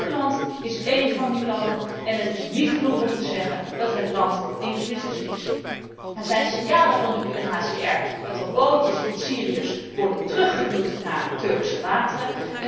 Griekenland is één van die landen en het is niet genoeg om te zeggen dat het land in crisis verkeert. Er zijn signalen van de UNHCR dat er bootjes met Syriërs worden teruggeduwd naar Turkse wateren.